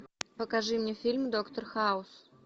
покажи мне фильм доктор хаус